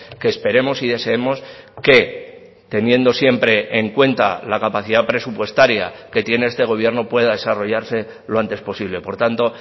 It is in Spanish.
que esperemos y deseemos que teniendo siempre en cuenta la capacidad presupuestaria que tiene este gobierno pueda desarrollarse lo antes posible por tanto